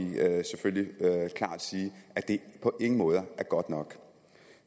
selvfølgelig klart sige at det på ingen måde er godt nok